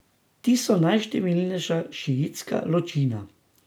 Ti so najštevilnejša šiitska ločina.